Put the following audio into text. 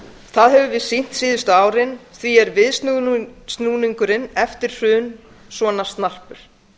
það höfum við sýnt síðustu árin því er viðsnúningurinn eftir hrun svona snarpur